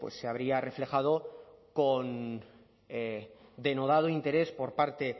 se habría reflejado con denodado interés por parte